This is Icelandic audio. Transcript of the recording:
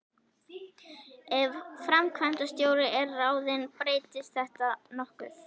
Ef framkvæmdastjóri er ráðinn breytist þetta nokkuð.